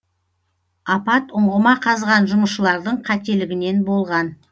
апат ұңғыма қазған жұмысшылардың қателігінен болған